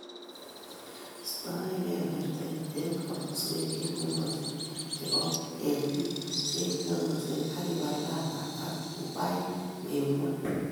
Iistoegei bertet eng' komoswek che ng'emaksei che po keetiik che ng'emaksei, ak ibar larvae ak pupaik eng' ng'wony.